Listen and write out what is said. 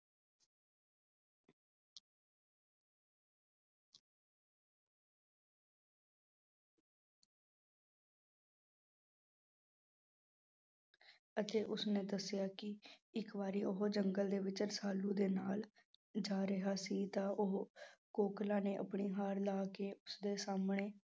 ਅਤੇ ਉਸਨੇ ਦੱਸਿਆ ਕਿ ਇੱਕ ਵਾਰੀ ਉਹ ਜੰਗਲ ਦੇ ਵਿੱਚ ਰਸਾਲੂ ਦੇ ਨਾਲ ਜਾ ਰਿਹਾ ਸੀ ਤਾਂ ਉਹ ਕੋਕਲੇ ਨੇ ਆਪਣੀ ਹਾਰ ਲਾਹ ਕੇ ਉਸਦੇ ਸਾਹਮਣੇ